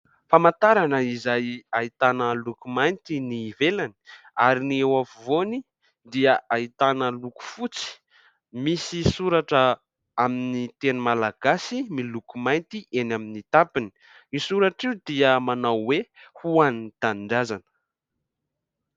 Famantarana izay ahitana lokomainty ny ivelany ary ny eo afovoany dia ahitana loko fotsy ,misy soratra amin'ny teny Malagasy miloko mainty eny amin'ny tapiny ny ilay soratra io dia manao hoe ho an'ny tanindrazana.